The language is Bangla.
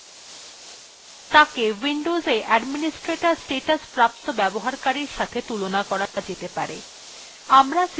মূল ব্যবহারকারীকে windows administrator statusপ্রাপ্ত ব্যবহারকারীর সাথে তুলনা করা যেতে পারে